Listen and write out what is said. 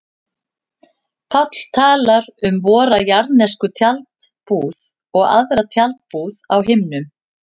Páll talar um vora jarðnesku tjaldbúð og aðra tjaldbúð á himnum.